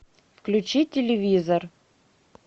включи телевизор